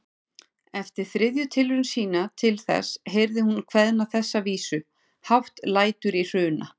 Eftir þriðju tilraun sína til þess heyrði hún kveðna þessa vísu: Hátt lætur í Hruna